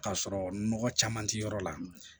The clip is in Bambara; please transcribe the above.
K'a sɔrɔ nɔgɔ caman tɛ yɔrɔ la